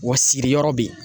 Wa siriyɔrɔ bɛ yen.